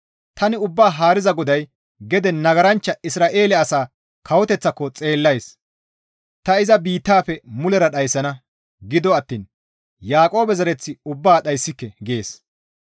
Tani Ubbaa Haariza GODAY gede nagaranchcha Isra7eele asaa kawoteththaako xeellays; ta iza biittafe mulera dhayssana; gido attiin Yaaqoobe zereth ubbaa dhayssike» gees.